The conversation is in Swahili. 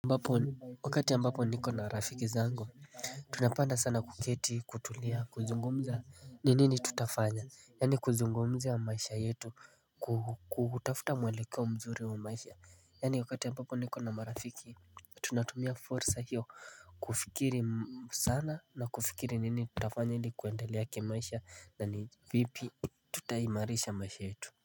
Mbapo wakati ambapo niko na marafiki zangu tunapenda sana kuketi kutulia kuzungumza ni nini tutafanya yani kuzungumzia maisha yetu kutafuta mwelekea mzuri wa maisha yani wakati ambapo niko na marafiki tunatumia fursa hiyo kufikiri sana na kufikiri nini tutafanya ni kuendelea kimaisha na ni vipi tutaimarisha maisha yetu.